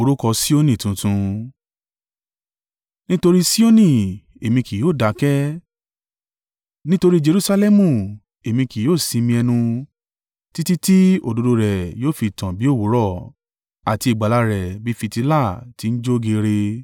Nítorí Sioni èmi kì yóò dákẹ́, nítorí i Jerusalẹmu èmi kì yóò sinmi ẹnu, títí tí òdodo rẹ̀ yóò fi tàn bí òwúrọ̀, àti ìgbàlà rẹ̀ bí i fìtílà tí ń jó geere.